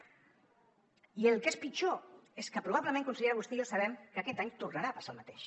i el que és pitjor és que probablement consellera vostè i jo sabem que aquest any tornarà a passar el mateix